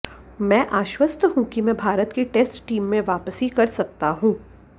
मैं आश्वस्त हूं कि मैं भारत की टेस्ट टीम में वापसी कर सकता हूं